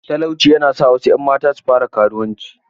Talauci ya na sa wasu ‘yan mata su fara karuwanci.